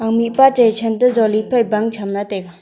mihpa chai than toh jali phai bang chem taiga.